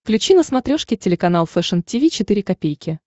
включи на смотрешке телеканал фэшн ти ви четыре ка